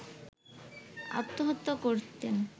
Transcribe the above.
আত্মহত্যা করতেন